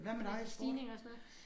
Ja stigninger og sådan noget